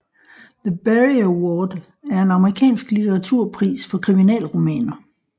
The Barry Award er en amerikansk litteraturpris for kriminalromaner